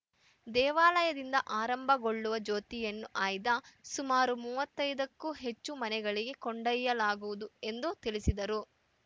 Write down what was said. ದೇವಾಲಯದಿಂದ ಆರಂಭಗೊಳ್ಳುವ ಜ್ಯೋತಿಯನ್ನು ಆಯ್ದ ಸುಮಾರು ಮೂವತ್ತೈದ ಕ್ಕೂ ಹೆಚ್ಚು ಮನೆಗಳಿಗೆ ಕೊಂಡೊಯ್ಯಲಾಗುವುದು ಎಂದು ತಿಳಿಸಿದರು